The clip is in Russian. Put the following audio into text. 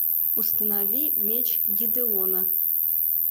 установи меч гедеона